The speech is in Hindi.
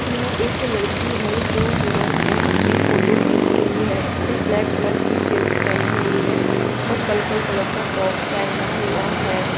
यह एक लड़की है जो मिरर में अपनी फोटो खींच रही है इसने ब्लैक कलर की जींस पहनी हुई है और पलपल कलर का टॉप पहना हुआ है।